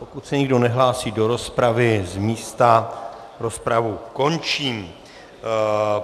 Pokud se nikdo nehlásí do rozpravy z místa, rozpravu končím.